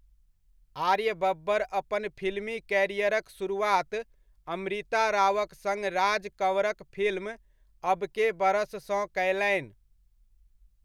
आर्य बब्बर अपन फिल्मी कैरियरक शुरुआत अमृता रावक सङ्ग राज कँवरक फिल्म 'अब के बरस' सँ कयलनि।